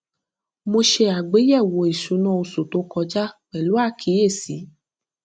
mo ṣe àgbéyẹwò ìṣúná oṣù tó kọjá pẹlú àkíyèsí